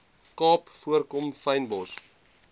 kaap voorkom fynbos